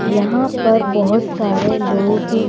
यहां पर बहुत सारे लोग--